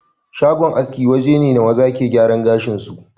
Shagon aske waje ne maza ke giyara gashin su